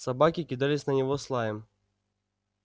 собаки кидались на него с лаем